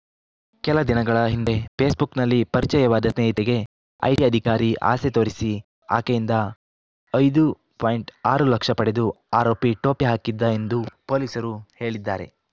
ಕೆಲ ದಿನಗಳ ಹಿಂದೆ ಫೇಸ್‌ಬುಕ್‌ನಲ್ಲಿ ಪರಿಚಯವಾದ ಸ್ನೇಹಿತೆಗೆ ಐಟಿ ಅಧಿಕಾರಿ ಆಸೆ ತೋರಿಸಿ ಆಕೆಯಿಂದ ಐದು ಪಾಯಿಂಟ್ ಆರು ಲಕ್ಷ ಪಡೆದು ಆರೋಪಿ ಟೋಪಿ ಹಾಕಿದ್ದ ಎಂದು ಪೊಲೀಸರು ಹೇಳಿದ್ದಾರೆ